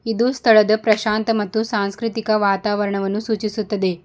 ಇದು ಸ್ಥಳದ ಪ್ರಶಾಂತ ಮತ್ತು ಸಾಂಸ್ಕೃತಿಕ ವಾತಾವರಣವನ್ನು ಸೂಚಿಸುತ್ತದೆ.